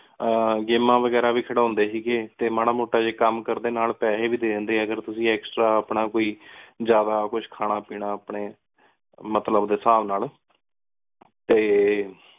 games ਵਗੇਰਾ ਵੀ ਖਾਦੋੰਡੀ ਸੀ ਟੀ ਮਰਾ ਮੋਟਾ ਕਾਮ ਕਰਦੀ ਨਾਲ ਪੇਸੀ ਵ ਦੇ ਦੇਂਦੀ ਅਗਰ ਤੁਸੀਂ Extra ਆਪਣਾ ਕੋਈ ਕੁਝ ਖਾਨਾ ਪੀਨਾ ਅਪਨੀ ਮਤਲਬ ਡੀ ਹਿਸਾਬ ਨਾਲ ਟੀ